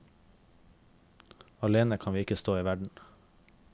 Alene kan vi ikke stå i verden.